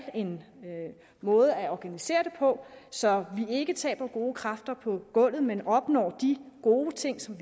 en måde at organisere det på så man ikke taber gode kræfter på gulvet men opnår de gode ting som